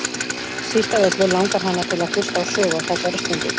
Síst af öllu langar hana til að hlusta á sögu á þessari stundu.